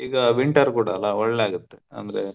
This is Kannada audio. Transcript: ಈಗ winter ಕೂಡಾ ಅಲಾ ಒಳ್ಳೇ ಆಗುತ್ತೆ ಅಂದ್ರೆ.